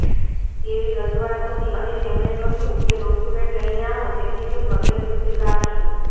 તેવી રજુઆત હતી અને તેમને કહ્યું કે ડોકયુમેન્ટ લઇને આવો તેથી તેમનો ટેકસ સ્વીકારશું